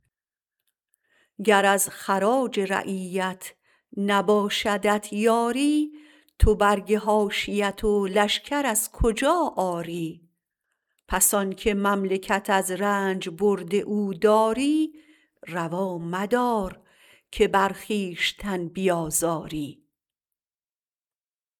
گر از خراج رعیت نباشدت باری تو برگ حاشیت و لشکر از کجا آری پس آنکه مملکت از رنج برد او داری روا مدار که بر خویشتن بیازاری